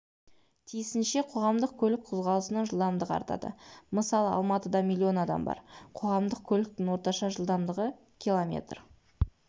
тиісінше қоғамдық көлік қозғалысының жылдамдығы артады мысалы алматыда миллион адам бар қоғамдық көліктің орташа жылдамдығы км